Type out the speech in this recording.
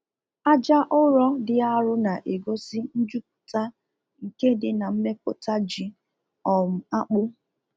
Aja ụrọ dị arụ na egosi njụpụta nke dị na mmepụta ji um akpụ